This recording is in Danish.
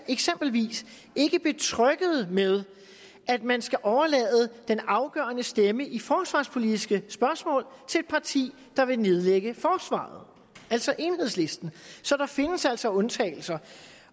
eksempelvis ikke betrygget ved at man skal overlade den afgørende stemme i forsvarspolitiske spørgsmål til et parti der vil nedlægge forsvaret altså enhedslisten så der findes altså undtagelser